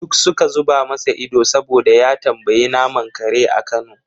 Duk suka zuba masa ido saboda ya tambayi naman kare a kano.